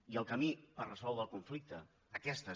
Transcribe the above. i el camí per resoldre el conflicte aquesta és